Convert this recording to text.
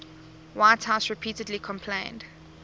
whitehouse repeatedly complained